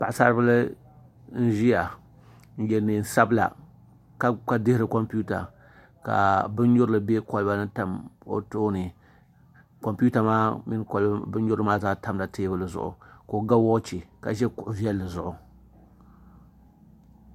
Paɣasari bili n ʒiya n yɛ neen sabila ka dihiri kompita ka bin nyurili bɛ kolba ni n tam o tooni kompita maa mini bin nyurili maa zaa tamla teebuli maa zuɣu ka o ga woochi ka ʒi kuɣu viɛlli zuɣu